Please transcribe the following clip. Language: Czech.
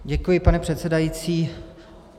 Děkuji, pane předsedající.